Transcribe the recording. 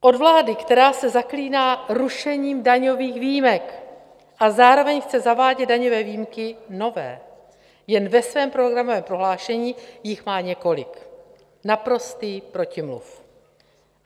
Od vlády, která se zaklíná rušením daňových výjimek a zároveň chce zavádět daňové výjimky nové - jen ve svém programovém prohlášení jich má několik, naprostý protimluv.